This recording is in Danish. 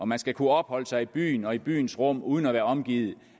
man skal kunne opholde sig i byen og i byens rum uden at være omgivet